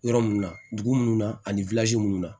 Yɔrɔ mun na dugu munnu na ani munnu na